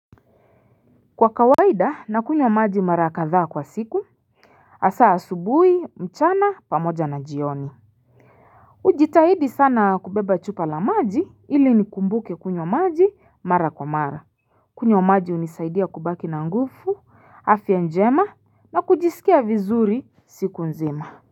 Kwa kawaida na kunywa maji mara kadha kwa siku asaa subui mchana pamoja na jioni ujitahidi sana kubeba chupa la maji ili ni kumbuke kunyo maji mara kwa mara kunywa maji unisaidia kubaki na ngufu afya njema na kujisikia vizuri siku nzima.